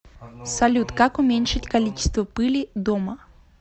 салют как уменьшить количество пыли дома